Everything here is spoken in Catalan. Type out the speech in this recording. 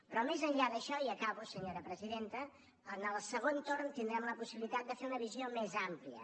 però més enllà d’això i acabo senyora presidenta en el segon torn tindrem la possibilitat de fer una visió més àmplia